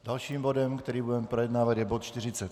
Dalším bodem, který budeme projednávat, je bod